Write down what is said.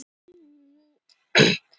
Málað á sér varirnar.